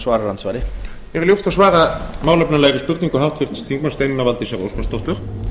herra forseti mér er ljúft að svara málefnalegri spurningu háttvirts þingmanns steinunnar valdísar óskarsdóttur